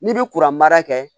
N'i bi kuran mara kɛ